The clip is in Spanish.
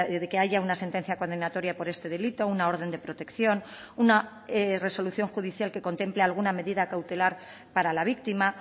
de que haya una sentencia condenatoria por este delito una orden de protección una resolución judicial que contemple alguna medida cautelar para la víctima